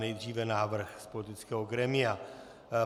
Nejdříve návrh z politického grémia.